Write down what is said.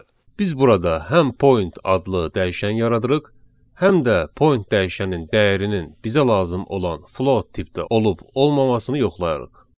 Biz burada həm point adlı dəyişən yaradırıq, həm də point dəyişənin dəyərinin bizə lazım olan float tipdə olub-olmaması yoxlayırıq.